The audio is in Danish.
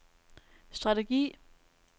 strategi